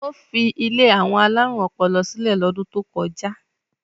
Ó fi ilé àwọn alárùn ọpọlọ sílẹ̀ lọ́dún tó kọjá?